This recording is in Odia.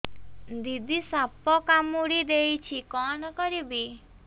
ଦିଦି ସାପ କାମୁଡି ଦେଇଛି କଣ କରିବି